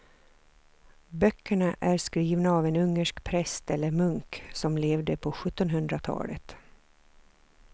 Böckerna är skrivna av en ungersk präst eller munk som levde på sjuttonhundratalet.